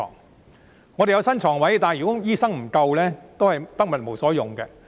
不過，即使有新床位，如果醫生不足，也是得物無所用。